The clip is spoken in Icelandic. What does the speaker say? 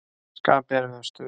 Það skapi erfiða stöðu.